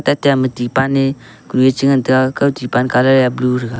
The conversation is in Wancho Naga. tate ama tipan a kunu a che ngan kaw tipan colour a blue thega.